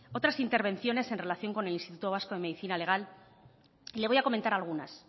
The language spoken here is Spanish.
otras intervenciones en relación con el instituto vasco de medicina legal le voy a comentar algunas